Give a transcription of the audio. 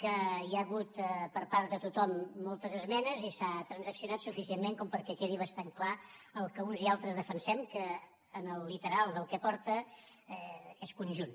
que hi ha hagut per part de tothom moltes esmenes i s’ha transaccionat suficientment com perquè quedi bastant clar el que uns i altres defensem que en el literal del que porta és conjunt